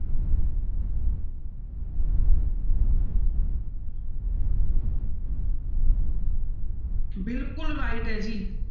ਬਿਲਕੁਲ right ਹੈ ਜੀ।